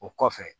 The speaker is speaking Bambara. O kɔfɛ